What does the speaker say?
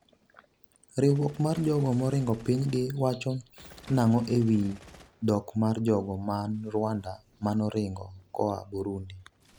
riwruok mar jogo moringo piny gi wacho nang'o e wiy dok mar jogo man Rwanda manoringo koa Burundi?